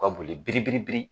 Ka boli biri biri biri.